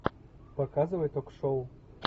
показывай ток шоу